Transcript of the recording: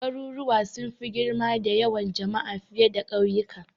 Garuruwa sun fi girma da yawan jama'a fiye da kauyuka.